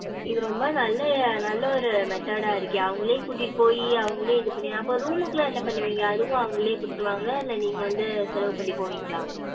இது ரொம்ப நல்ல நல்ல ஒரு method டா இருக்கே அவங்களே கூட்டிட்டு போயி அவுங்களே இது பண்ணி அப்போ room லாம் என்ன பண்ணுவிங்க? அதுவும் அவங்களே குடுதுருவாங்களா? இல்ல நீங்க வந்து செலவு பண்ணி போவிங்களா?